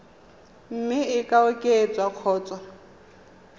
mme e ka oketswa kgotsa